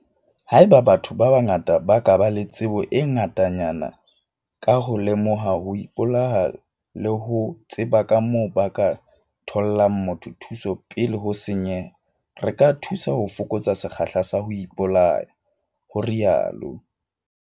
"Haeba batho ba bangata ba ba le tsebo e ngatanyana ka ho lemoha ho ipolaya le ho tseba kamoo ba ka thollang motho thuso pele ho senyeha, re ka thusa ho fokotsa sekgahla sa ho ipolaya," o rialo.